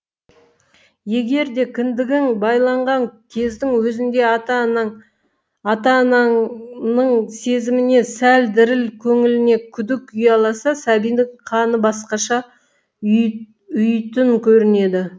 егер де кіндігің байланған кездің өзінде ата ананың сезіміне сәл діріл көңіліне күдік ұяласа сәбидің қаны басқаша ұйыйтын көрінеді